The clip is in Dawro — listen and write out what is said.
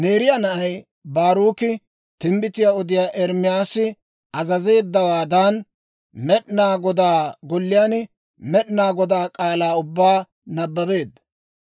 Neeriyaa na'ay Baaruki timbbitiyaa odiyaa Ermaasi azazeeddawaadan, Med'inaa Godaa Golliyaan Med'inaa Godaa k'aalaa ubbaa nabbabeedda.